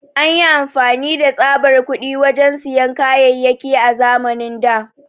An yi amfani da tsaɓar kuɗi wajen siyan kayayaki a zamanin da.